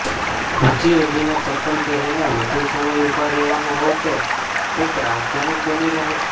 ઊંચી એડીના ચપ્પલ પહેરીને વધુ સમય ઊભા રહેવાનું હોય તો તે ત્રાસજનક બની રહે છે